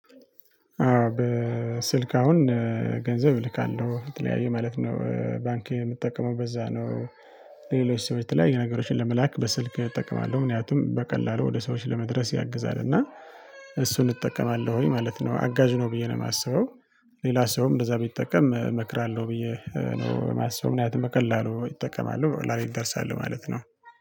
በስልክ አሁን ገንዘብ እልካለሁ በተለያዩ ማለት ነው ባንክ የምትጠቀመው በዛ ነው ሌሎች ሰዎች ተለያዩ ነገሮችን ለመላክ በስልክ እጠቀማለሁ። ምክንያቱም በቀላሉ ወደ ሰዎች ለመድረስ ያግዛ። እና እሱን እጠቀማለሁኝ። ማለት ነው አጋዥ ነው ብዬ ነው የማስበው። ሌላ ሰውም እንደዛ ቢጠቀም እመክራለሁ። ብዬ ነው የማስበው ምክንያቱም በቀላሉ ይጠቀማሉ። ላይ ይደርሳሉ ማለት ነው።